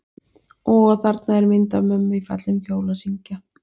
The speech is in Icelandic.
Og þarna er mynd af mömmu í fallegum kjól að syngja.